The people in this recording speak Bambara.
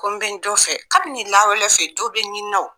Ko bɛ n jon fɛ kabini lawale fɛ dɔ bɛ ɲinina